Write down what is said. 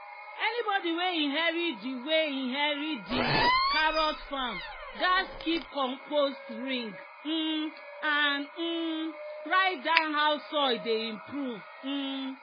"anybody wey inherit di wey inherit di carrot farm gats keep compost ring um and um write down how soil dey improve." um